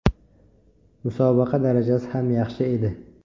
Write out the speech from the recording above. Musobaqa darajasi ham yaxshi edi.